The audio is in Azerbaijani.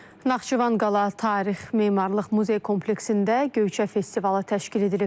Naxçıvan Qala Tarix Memarlıq Muzey Kompleksində Göyçə festivalı təşkil edilib.